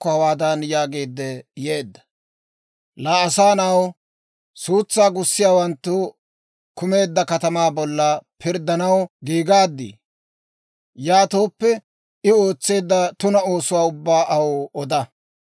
«Laa asaa na'aw, suutsaa gussiyaawanttu kumeedda katamaa bolla pirddanaw giigaadii? Yaatooppe, I ootseedda tuna oosuwaa ubbaa aw oda.